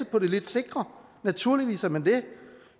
på det sikre naturligvis er man det